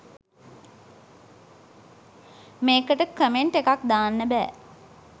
මේකට කමෙන්ට් එකක් දාන්න බෑ